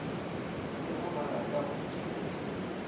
le ha barata ho nkeletsa